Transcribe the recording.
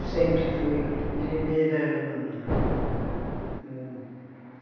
Eu sempre fui primeira aluna.